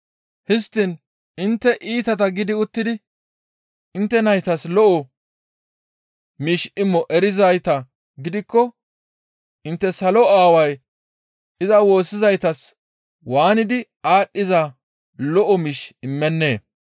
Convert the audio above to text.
Histtiin intte iitata gidi uttidi intte naytas lo7o miish imo erizayta gidikko intte salo Aaway iza woossizaytas waanidi aadhdhiza lo7o miish immennee?